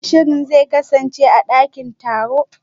Shin shirin zai kasance a dakin taro?